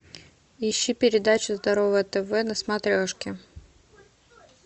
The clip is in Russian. ищи передачу здоровое тв на смотрешке